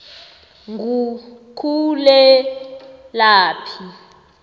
ngukhulelaphi